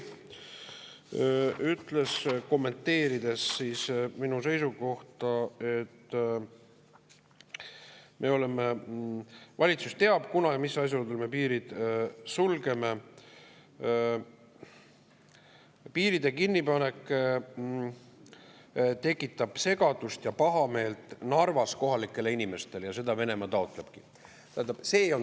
Ta ütles, kommenteerides siis minu seisukohta, et valitsus teab, kunas ja mis asjaoludel me piirid sulgeme, ja piiride kinnipanek tekitab segadust Narva kohalike inimeste seas ja nende pahameelt ning seda Venemaa taotlebki.